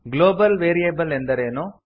global variable ಎಂದರೇನು